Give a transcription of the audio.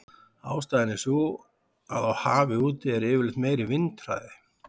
Ástæðan er sú að á hafi úti er yfirleitt meiri vindhraði.